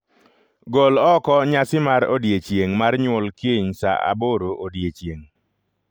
Gol oko nyasi mar odiechieng' mar nyuol kiny saa aboro odiechieng'.